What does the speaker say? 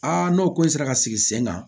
Aa n'o ka sigi sen kan